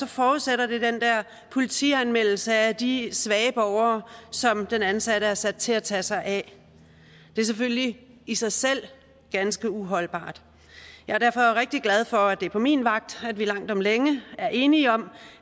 forudsætter det den der politianmeldelse af de svage borgere som den ansatte er sat til at tage sig af det er selvfølgelig i sig selv ganske uholdbart jeg er derfor rigtig glad for at det er på min vagt at vi langt om længe er enige om